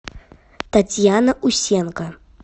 татьяна усенко